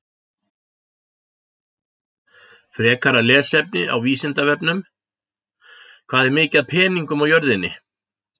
Frekara lesefni á Vísindavefnum: Hvað er mikið af peningum á jörðinni?